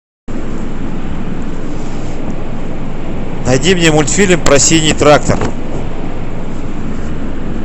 найди мне мультфильм про синий трактор